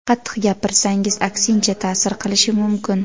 Qattiq gapirsangiz, aksincha ta’sir qilishi mumkin.